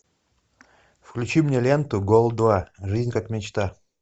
включи мне ленту гол два жизнь как мечта